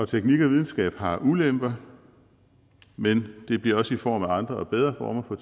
teknik og videnskab har ulemper men det bliver også i form af andre og bedre former for